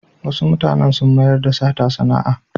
Wasu mutanen sun mayar da sata sana'a.